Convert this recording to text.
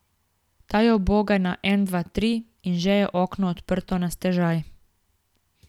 Ta jo uboga na en dva tri, in že je okno odprto na stežaj.